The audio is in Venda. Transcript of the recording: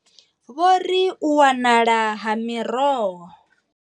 Vho ri u wanala ha miroho.